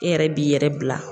E yɛrɛ b'i yɛrɛ bila.